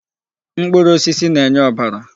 Mkpụrụ osisi na-enye ọbara.